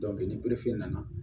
ni nana